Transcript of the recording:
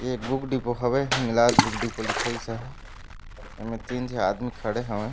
एक book depot हावे Hinglaj book depot लिखाइस हय एमे तीन झो आदमी खड़े हवय।